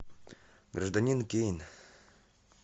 гражданин кейн